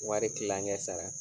Wari kilaŋɛ sara